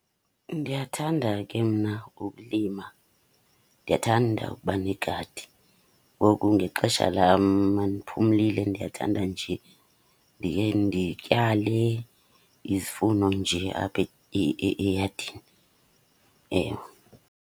Ndiyathanda ke mna ukulima, ndiyathanda ukuba negadi. Ngoku ngexesha lam uma ndiphumlile ndiyathanda nje ndikhe ndityale izifuno nje apha eyadini, ewe.